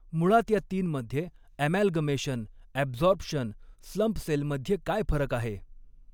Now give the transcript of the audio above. मुळात या तीनमध्ये ॲमॅलगमेशन ॲबझॉरप्शन स्लंप सेलमध्ये काय फरक आहे?